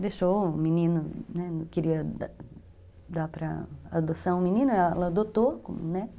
Deixou o menino, né, queria dar para a adoção o menino, ela adotou como neto.